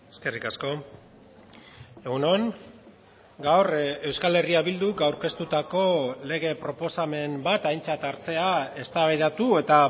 eskerrik asko egun on gaur euskal herria bilduk aurkeztutako lege proposamen bat aintzat hartzea eztabaidatu eta